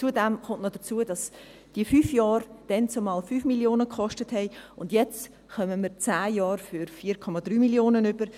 Zudem kommt hinzu, dass die fünf Jahre damals 5 Mio. Franken kosteten, und jetzt bekommen wir zehn Jahre für 4,3 Mio. Franken.